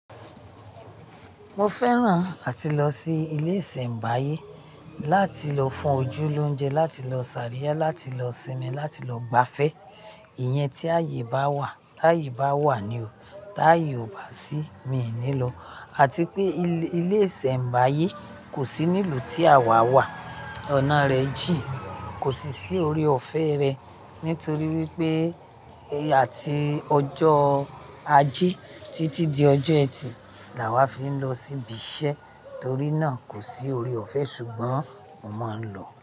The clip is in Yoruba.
Mo fẹ́ràn áti lọ sí ilé ìsènbáyé láti lọ fún ojú lónje, láti lọ sàríá, láti lọ sinmi, láti lọ gbafẹ́. Ìyẹn tí ayé bá wà. Táyé bá wà ní o. Táyé ò bá sí, mi ní lọ. Àti pé ilé ìsèbáyé kò sí nílùú tí àwa wà. Ọ̀nà rẹ jín kò sì sí orí ọ̀fẹ́ rẹ nítorí wípé àti ọjọ́ ajé títí di ọjọ́ ẹtìí làwà fi ń lọ sí ibi iṣẹ́ torí náà kò sí orí ọ̀fẹ́ ṣùgbọ́n mo máa ń lọ.